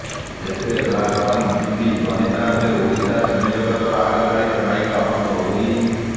ଏଥିରେ ଲାଲପାନ ବିବି ବନିଥାନ୍ତେ ଓଡ଼ିଆ ସିନେଜଗତର ଆଗଧାଡ଼ିର ନାୟିକା ଅନୁ ଚୌଧୁରୀ